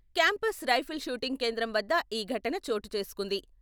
Campus rifle shooting కేంద్రం వద్ద ఈ ఘటన చోటు చేసుకుంది.